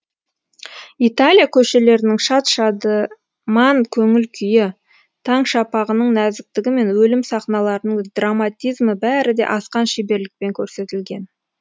италия көшелерінің шат шадыман көңіл күйі таң шапағының нәзіктігі мен өлім сахналарының драматизмі бәрі де асқан шеберлікпен көрсетілген